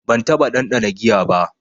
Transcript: Ban taɓa ɗanɗana giya ba.